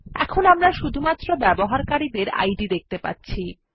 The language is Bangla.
এখন আমরা শুধুমাত্র ব্যবহারকারী ডের ইদ দেখতে পাচ্ছি